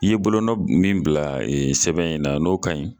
I ye bolonɔ min bila sɛbɛn in na n'o ka ɲi